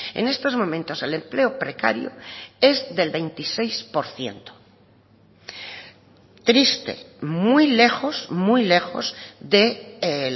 en estos momentos el empleo precario es del veintiséis por ciento triste muy lejos muy lejos de